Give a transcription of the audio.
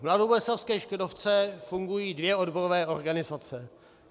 V mladoboleslavské Škodovce fungují dvě odborové organizace.